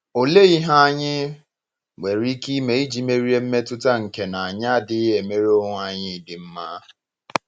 Ọ̀lee ihe anyị nwere ike ime iji merie mmetụta nke na anyị adịghị emere onwe anyị ịdị mma?